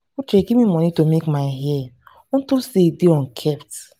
uche give me money to go make my hair unto say e dey unkempt